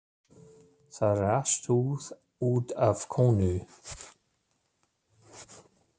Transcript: Það er allt út af konu.